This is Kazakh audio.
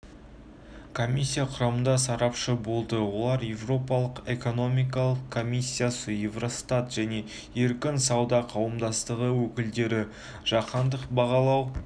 комиссия құрамында сарапшы болды олар еуропалық экономикалық комиссиясы еуростат және еркін сауда қауымдастығы өкілдері жаһандық бағалау